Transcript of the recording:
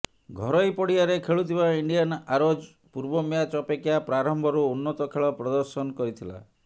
ଘରୋଇ ପଡ଼ିଆରେ ଖେଳୁଥିବା ଇଣ୍ଡିଆନ ଆରୋଜ ପୂର୍ବ ମ୍ୟାଚ ଅପେକ୍ଷା ପ୍ରାରମ୍ଭରୁ ଉନ୍ନତ ଖେଳ ପ୍ରଦର୍ଶନ କରିଥିଲା